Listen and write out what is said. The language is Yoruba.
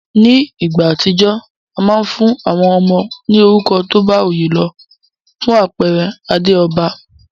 Ní ìgbà àtijó, a ma n fún àwon ọmọ ní orúkọ tóbá oyé lo. Fún àpere Adéòba